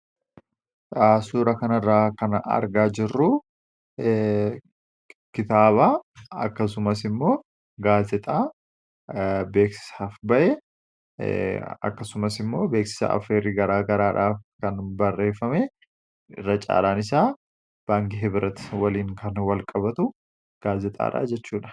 Suuraa kanarraa argaa kan jirru kitaaba, Akkasumas immoo gaazexaa beeksisaaf bahe akkasumas immoo beeksisa affeerrii gara garaa dhaaf kan barreeffame baay'een isaa 'baankii Hibrat' wajjin kan wal qabatu gaazexaadha jechuudha.